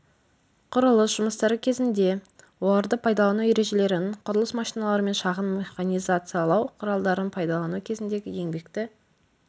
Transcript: құрылыс жұмыстары кезінде оларды пайдалану ережелерін құрылыс машиналары мен шағын механизациялау құралдарын пайдалану кезіндегі еңбекті